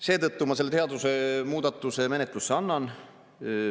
Seetõttu ma selle seadusemuudatuse menetlusse annan.